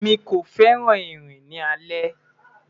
Emi ko fẹran rin ni alẹ